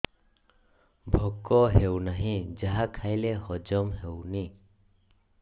ଭୋକ ହେଉନାହିଁ ଯାହା ଖାଇଲେ ହଜମ ହଉନି